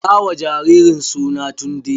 Sa wa jaririn suna Tunde!